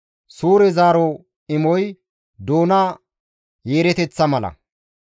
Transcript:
Suure zaaro imoy doona yeereteththa mala.